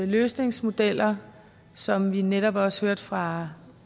løsningsmodeller som vi netop også hørte fra